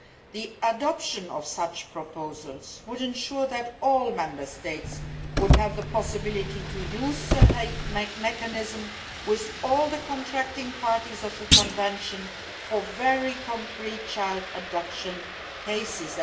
The adoption of such proposals would ensure that all Member States have the possibility to use the Hague Mechanism with all the contracting parties of the Convention for very concrete child abduction cases